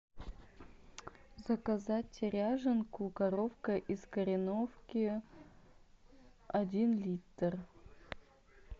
заказать ряженку коровка из кореновки один литр